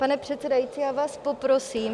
Pane předsedající, já vás poprosím.